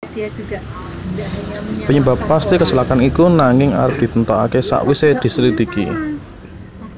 Penyebab pasti kecelakaan iku nanging arep ditentokake sakwise dislidiki